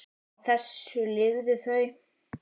Á þessu lifðu þau.